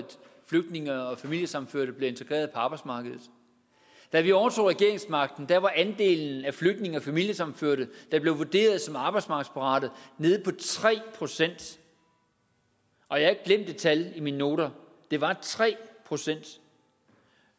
flygtninge og familiesammenførte bliver integreret på arbejdsmarkedet da vi overtog regeringsmagten var andelen af flygtninge og familiesammenførte der blev vurderet som arbejdsmarkedsparate nede på tre procent og jeg har ikke glemt det tal i mine noter det var tre procent